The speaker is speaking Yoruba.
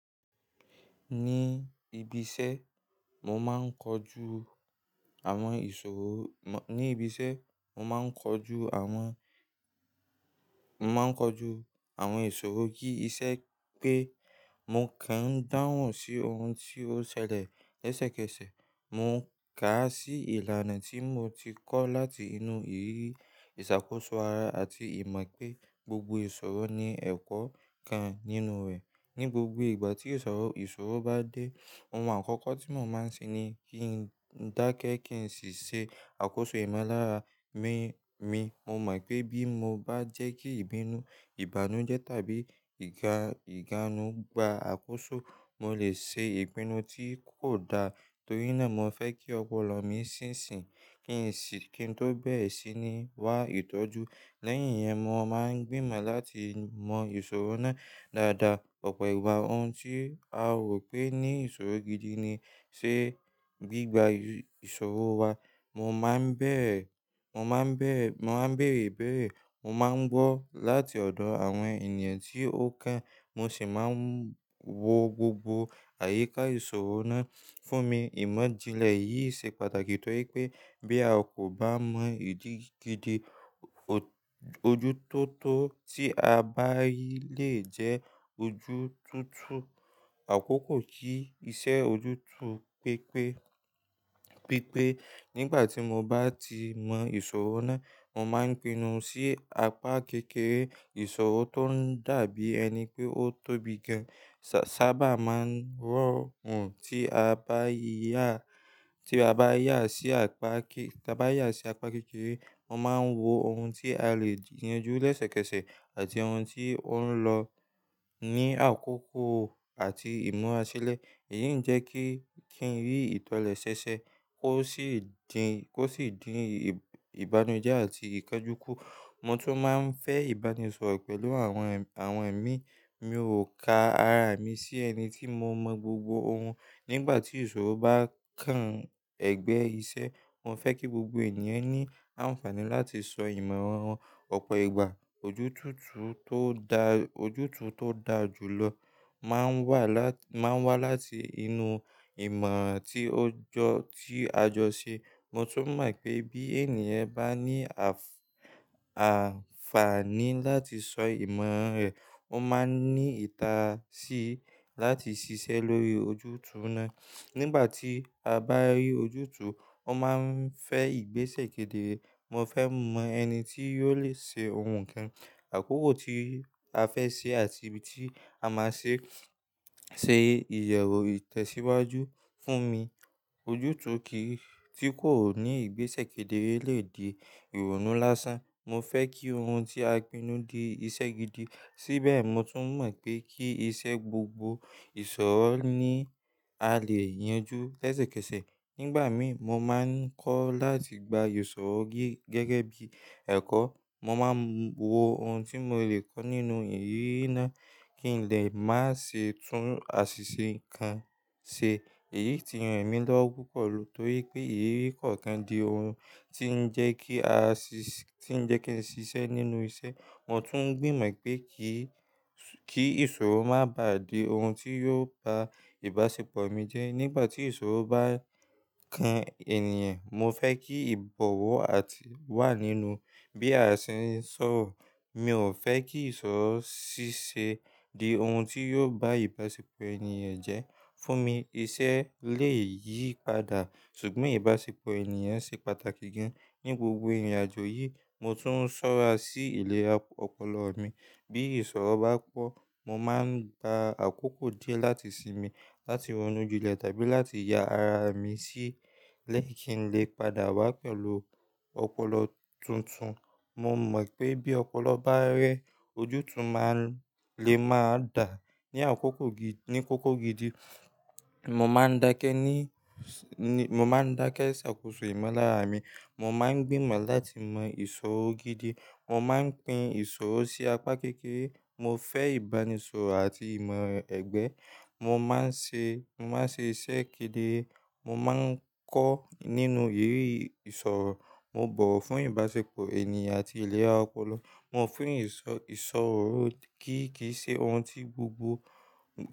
Ní ibi iṣẹ́, mo máa ń kojú àwọn ìṣòro, mo, ní ibi iṣẹ́, mo máa ń kojú àwọn, mo máa ń kojú àwọn ìṣòro kí ìṣe pé mo kàn ń dáhùn sí ohun tí ó ṣẹlẹ̀ lẹ́sẹ̀kẹsẹ̀. Mo ká sí ìlànà tí mo ti kọ́ láti inú ìrírí ìṣàkóso ara àti ìmọ̀ pé gbogbo ìṣòro ní ẹ̀kọ́ kan nínú rẹ̀. Ní gbogbo ìgbà tí ìṣòro, ìṣòro bá dé, ohun àkọ́kọ́ tí mo máa ń ṣe ni kí n dákẹ́ kí n sì ṣe àkóso ìmọ̀lára mi, mi. Mo mọ̀ pé bí mo bá jẹ́ kí ìbínú, ìbànújẹ́ tàbí ìga-ìganu gba àkóso, mo lè ṣe ìpinnu tí kò da. Torínà mo fẹ́ kí ọpọlọ mi sì nṣìn, kí n sì, kí n tó bẹ̀re síi ní wá ìtọ́jú. Lẹ́yìn yẹn, mo máa ń gbìmọ̀ láti mọ ìṣòro náà dáadáa. Ọ̀pọ̀ ìgbà ohun tí a rò pé ní ìṣòro gidi ni ṣe gbígba ìṣòro wa. Mo máa ń bẹ̀rẹ̀, mo máa ń bẹ̀rẹ̀, mo máa ń bèrè ibéèrè, mo máa ń gbọ́ láti ọ̀dọ̀ àwọn ènìyàn tí ó kàn, mo sì máa ń wo gbogbo àyíká ìṣòro náà fún mi. Ìmọ̀-jinlẹ̀ yìí ṣe pàtàkì torí pé bí a kò bá mọ ìdí gidi, ojú tó tó tí a bá rí lè jẹ́ ojú tó tú àkókò kí iṣẹ́ ojú tó pé pé. Pípé nígbà tí mo bá ti mọ ìṣòro náà, mo máa ń pinnu sí apá kékeré ìṣòro tó ń dàbí ẹni pé ó tóbi gan. Sá-sáábà máa ń rọ̀ ohun tí a bá yá, tí a bá yá sí apá ké, tí a bá yá sí apá kékeré. Mo máa ń wo ohun tí a lè yanjú lẹ́sẹ̀kẹsẹ̀ àti ohun tí ó ń lọ ní àkókò àti ìmúra sílẹ̀. Èyí ń jẹ́ kí, kí n rí ìtọ̀lẹ̀ ṣẹ̀ṣẹ̀ kó sì dín, kó sì dín ìbà-ìbànújẹ́ àti ìkánjú kù. Mo tún máa ń fẹ́ ìbánisọ̀rọ̀ pẹ̀lú àwọn ènì, àwọn ẹ̀mí. Mi ò ka ara mi sí ẹni tí mo mọ gbogbo ohun. Nígbà tí ìṣòro bá kan ẹ̀gbẹ́ iṣẹ́, mo fẹ́ kí gbogbo ènìyàn ní àǹfààní láti sọ ìmọ̀ràn wọn. Ọ̀pọ̀ ìgbà ojú tó tú tó da, ojú tó tú tó dáa jù lọ máa ń wà láti, máa ń wá láti inú ìmọ̀ tí ó jọ, tí a jọ ṣe. Mo tún mọ̀ pé bí ènìyàn bá ní àf-àǹfààní láti sọ ìmọ̀ràn rẹ̀, ó máa ní ìtàsí láti ṣiṣẹ́ lórí ojú tú náà. Nígbà tí a bá rí ojú tú, ó máa ń fẹ́ ìgbésẹ̀ kedere. Mo fẹ́ mọ ẹni tí yóò le ṣe ohun kan, àkókò tí a fẹ́ ṣe àti ibi tí a máa ṣe, ṣe iyẹ̀wù ìtẹ̀síwájú fún mi. Ojú tó kì í, tí kò ní ìgbésẹ̀ kedere lè di ìrònú lásán. Mo fẹ́ kí ohun tí a pinnu di iṣẹ́ gidi. Síbẹ̀ mo tún mọ̀ pé kí iṣẹ́ gbogbo ìṣòro ní a lè yanjú lẹ́sẹ̀kẹsẹ̀. Nígbà mí, mo máa ń kọ́ láti gba ìṣòro gí gẹ́gẹ́ bí ẹ̀kọ́. Mo máa ń wo ohun tí mo lè kọ́ nínú ìrírí náà kíńlẹ̀ má ṣe tún àṣìṣe kan ṣe. Èyí ti ran mí lọ́wọ́ púpọ̀ torí pé ìrírí kọ̀ọ̀kan di ohun tí ń jẹ kí a ṣiṣ, tí ń jẹ́ kí ẹni ṣiṣẹ́ nínú iṣẹ́. Mo tún gbìmọ̀ pé kí, kí ìṣòro má bá di ohun tí yóò ba ìbáṣepọ̀ mi jẹ́. Nígbà tí ìṣòro bá kan ènìyàn, mo fẹ́ kí ìbọ̀wọ̀ àti wà nínú bí a ṣe ń sọ̀rọ̀. Mi ò fẹ́ kí ìṣòro ṣíṣe di ohun tí yóò bá ìbáṣepọ̀ ènìyàn jẹ́. Fún mi iṣẹ́ lè yí padà ṣùgbọ́n ìbáṣepọ̀ ènìyàn ṣe pàtàkì gan. Ní gbogbo ìrìnàjò yìí mo tún ṣọ́ra sí ìlera ọpọlọ mi. Bí ìṣòro bá pọ̀, mo máa ń gba àkókò díẹ̀ láti sinmi, láti ronú julẹ̀ tàbí láti ya ara mi sílẹ̀ kí n lè padà wá pẹ̀lú ọpọlọ tuntun. Mo mọ̀ pé bí ọpọlọ bá rẹ́, ojú tó máa lè máa dà ní àkókò gidi, ní kókó gidi. Mo máa ń dákẹ́ ní, mo máa ń dákẹ́ ṣàkóso ìmọ̀lára mi. Mo máa ń gbìmọ̀ láti mọ ìṣòro gidi. Mo máa ń pín ìṣòro sí apá kékeré. Mo fẹ́ ìbánisọ̀rọ̀ àti ìmọ̀ ẹgbẹ́. Mo máa ń ṣe, mo máa ń ṣe ìṣe kedere. Mo máa ń kọ́ nínú ìrírí ìṣòro. Mo bọ̀wọ̀ fún ìbáṣepọ̀ ènìyàn àti ìlera ọpọlọ. Mo fún ìsọ, ìṣòro gígí ṣe ohun tí gbogbo.